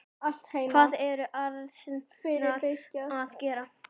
Hvað ertu annars að gera?